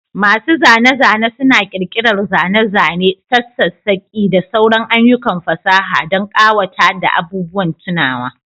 Masu zane-zane suna ƙirƙirar zane-zane, sassakaki, da sauran ayyukan fasaha don ƙawata da abubuwan tunawa.